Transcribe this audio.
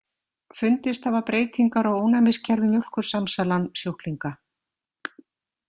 Fundist hafa breytingar á ónæmiskerfi Mjólkursamsalan-sjúklinga.